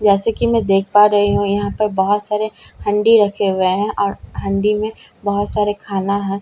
जैसे कि मैं देख पा रही हूं यहां पर बहुत सारे अ हंडी रखे हुए हैं और हंडी में बहुत सारे खाना है जैसे कि --